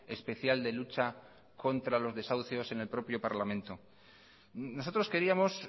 especial de lucha contra los desahucios en el propio parlamento nosotros queríamos